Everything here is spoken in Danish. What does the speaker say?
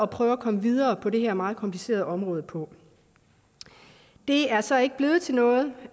prøve at komme videre på det her meget komplicerede område på det er så ikke blevet til noget